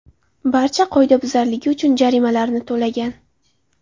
barcha qoidabuzarligi uchun jarimalarni to‘lagan.